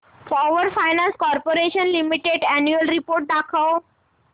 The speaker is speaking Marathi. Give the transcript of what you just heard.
power finance corporation limited annual report दाखव